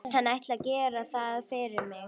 Hann ætli að gera það fyrir mig.